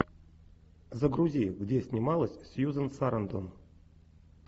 загрузи где снималась сьюзан сарандон